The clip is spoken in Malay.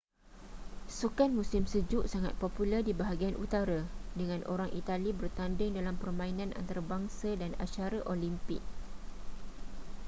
sukan musim sejuk sangat popular di bahagian utara dengan orang itali bertanding dalam permainan antarabangsa dan acara olimpik